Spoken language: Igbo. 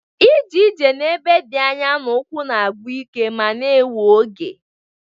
Ije ije n'ebe dị anya n'ụkwụ na-agwụ ike ma na-ewe oge